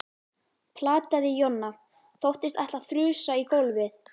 plataði Jonna. þóttist ætla að þrusa í gólfið.